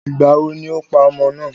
Ìgbàwo ni o pa ọmọ náà?